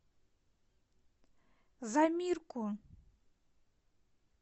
замирку